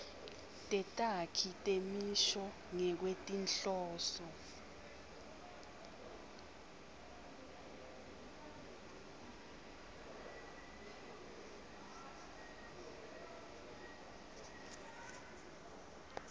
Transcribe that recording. tetakhi temisho ngekwetinhloso